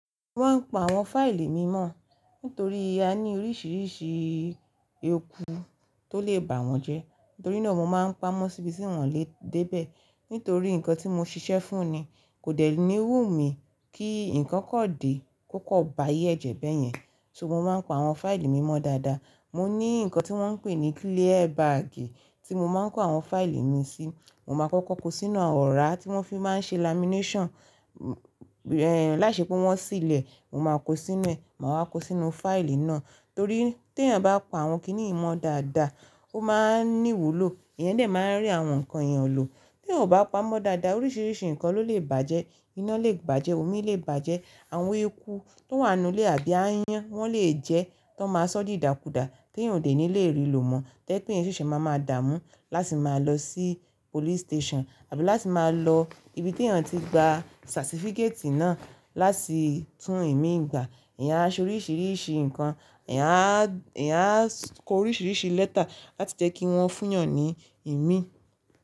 Mo ń pa àwọn fáìlì mímọ́ nítorí a ní oríṣiríṣi eku tó lè bà wọ́n jẹ, nítorí náà mo máa ń pamọ́ síbi tí wọ́n lè dé bẹ̀ nítorí nǹkan tí mo ṣiṣẹ́ fún ni kò dẹ ní wùmí kí nǹkan kan dé kó kọ́ báyé ẹ jẹ̀ bẹ́yẹn, ṣùgbọ́n mo máa ń pa àwọn fáìlì mímọ́ dáadáa. Mo ní nǹkan tí wọ́n ń pè ní clear baagi tí mo máa ń kó àwọn fáìlì mi sí, mo máa kọ́kọ́ kó sínú ọ̀rá tí wọ́n fi máa ń ṣe lamination, ẹ̀, láṣepò wọ́n síil e, mo máa kó sínú ẹ, màá wá kó sínú fáìlì náà torí tí èèyàn bá pa àwọn kiní yii mo dáadáa, ó máa ní wulò, èèyàn lè máa n rí àwọn nǹkan èèyàn lò. Tí èèyàn ò bá pamọ́ dáadáa, oríṣiríṣi nǹkan ló lè bàjẹ́, iná lè bàjẹ́, omi lè bàjẹ́, àwọn eku tó wà nù ilé àbí aáyán wọ́n lè jẹ ẹ́, ti won máa sọ́ di ìdàkudà kí èèyàn ò ní lè rí ló mọ́. To je pe kí èèyàn ṣẹ̀ṣẹ̀ máa máa dààmú láti máa lọ sí police station àbí láti máa lọ ibi tí èèyàn ti gba satifikeeti náà láti tún ìmí ìgbà. Eeyan á ṣe oríṣiríṣi nǹkan, eeyan aa, eeyan á kó oríṣiríṣi lẹ́tà láti jẹ́ kí wọ́n fún èèyàn ní ìmí.